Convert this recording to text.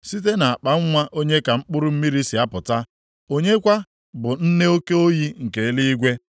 Site nʼakpanwa onye ka mkpụrụ mmiri si apụta? Onye kwa bụ nne oke oyi nke eluigwe,